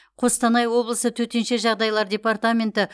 қостанай облысы төтенше жағдайлар департаменті